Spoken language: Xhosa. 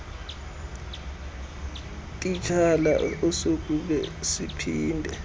titshala asokube siphinde